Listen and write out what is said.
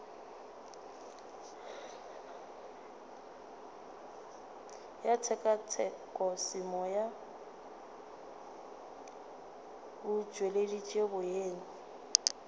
ya tshekatshekosemoya o tšweleditše boyena